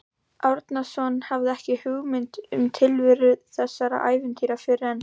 Árnason hafði ekki hugmynd um tilveru þessara ævintýra fyrr en